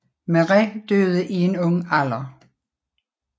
Máire døde i en ung alder